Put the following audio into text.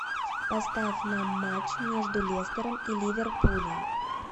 поставь нам матч между лестером и ливерпулем